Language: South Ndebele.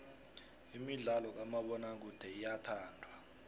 imidlalo kamabonakude iyathandwa